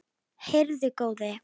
Heyrðu góði!